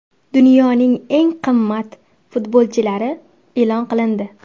Dunyoning eng qimmat futbolchilari e’lon qilindi.